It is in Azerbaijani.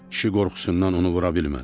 Kişi qorxusundan onu vura bilmədi.